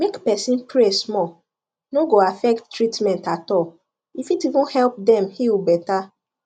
make person pray small no go affect treatment at all e fit even help them heal better